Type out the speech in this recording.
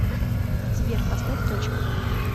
сбер поставь точка